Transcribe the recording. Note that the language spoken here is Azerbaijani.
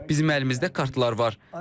Bizim əlimizdə kartlar var.